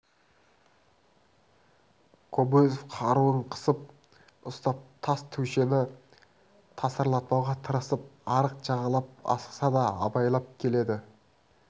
кобозев қаруын қысып ұстап тас көшені тасырлатпауға тырысып арық жағалап асықса да абайлап келеді